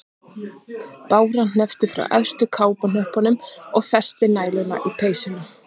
Bára hneppti frá efstu kápuhnöppunum og festi næluna í peysuna.